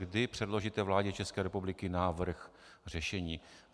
Kdy předložíte vládě České republiky návrh řešení?